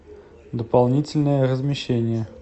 дополнительное размещение